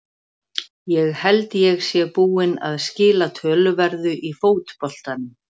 Ég held ég sé búinn að skila töluverðu í fótboltanum.